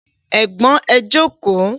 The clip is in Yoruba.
Ẹ̀gbọ́n ẹ jókòó